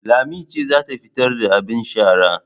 Lami ce za ta fitar da abin sharar